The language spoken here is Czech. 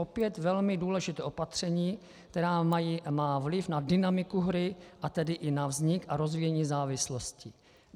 Opět velmi důležité opatření, které má vliv na dynamiku hry, a tedy i na vznik a rozvíjení závislosti.